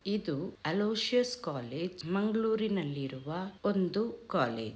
ಇದು Aloysius college ಮಂಗಳೂರುನಲ್ಲಿರುವ ಒಂದು ಕಾಲೇಜ್.